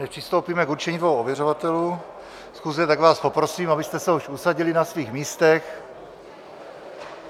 Než přistoupíme k určení dvou ověřovatelů schůze, tak vás poprosím, abyste se už usadili na svých místech.